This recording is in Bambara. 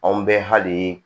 Anw bɛ hali